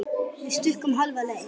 Við stukkum hálfa leið.